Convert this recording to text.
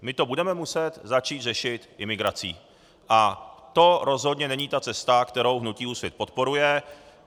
My to budeme muset začít řešit imigrací, a to rozhodně není ta cesta, kterou hnutí Úsvit podporuje.